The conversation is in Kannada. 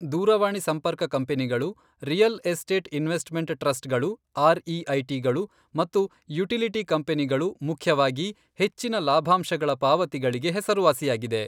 ದೂರವಾಣಿಸಂಪರ್ಕ ಕಂಪನಿಗಳು, ರಿಯಲ್ ಎಸ್ಟೇಟ್ ಇನ್ವೆಸ್ಟ್ಮೆಂಟ್ ಟ್ರಸ್ಟ್ಗಳು ಆರ್ಈಐಟಿಗಳು ಮತ್ತು ಯುಟಿಲಿಟಿ ಕಂಪನಿಗಳು ಮುಖ್ಯವಾಗಿ, ಹೆಚ್ಚಿನ ಲಾಭಾಂಶಗಳ ಪಾವತಿಗಳಿಗೆ ಹೆಸರುವಾಸಿಯಾಗಿದೆ.